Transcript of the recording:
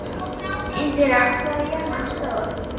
Indíra, hvað er jörðin stór?